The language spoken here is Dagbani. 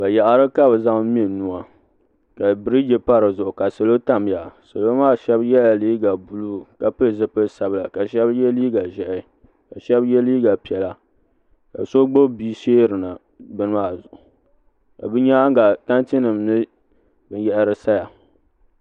Bayaɣiti ka bɛ zaŋ me nuu ka birigi pa di zuɣu ka salo tam di zuɣu shɛba yɛla liiga buluu ka pili zupil' sabila ka shɛba ye liiga ʒɛhi ka shɛba ye liiga piɛla ka so gbubi bia sheerina bini maa zuɣu ka bɛ nyaaŋa ka tantinima mini binyɛra saya